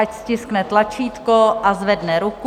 Ať stiskne tlačítko a zvedne ruku.